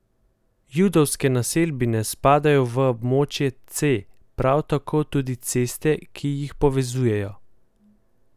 Judovske naselbine spadajo v območje C, prav tako tudi ceste, ki jih povezujejo.